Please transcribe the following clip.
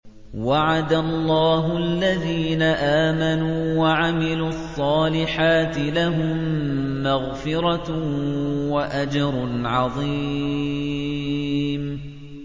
وَعَدَ اللَّهُ الَّذِينَ آمَنُوا وَعَمِلُوا الصَّالِحَاتِ ۙ لَهُم مَّغْفِرَةٌ وَأَجْرٌ عَظِيمٌ